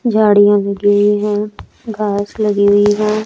झाड़ियां उगी हुई हैं घास लगी हुई है।